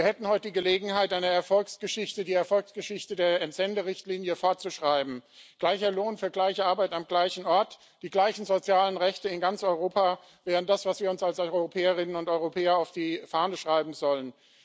Wir hätten heute Gelegenheit, die Erfolgsgeschichte der Entsenderichtlinie fortzuschreiben gleicher Lohn für gleiche Arbeit am gleichen Ort. Die gleichen sozialen Rechte in ganz Europa wären das, was wir uns als Europäerinnen und Europäer auf die Fahne schreiben sollen.